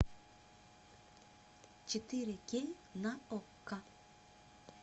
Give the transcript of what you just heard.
четыре кей на окко